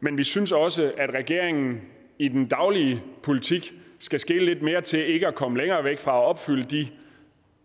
men vi synes også at regeringen i den daglige politik skal skele lidt mere til ikke at komme længere væk fra at opfylde de